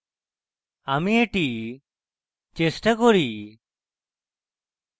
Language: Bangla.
আমি এটি চেষ্টা করি